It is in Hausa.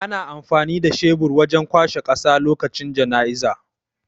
Ana amfani da shebur wajan kwashe ƙasa lokacin janaizay